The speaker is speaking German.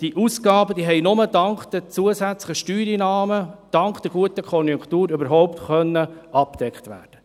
Diese Ausgaben konnten nur nur dank der zusätzlichen Steuereinnahmen, dank der guten Konjunktur, überhaupt gedeckt werden.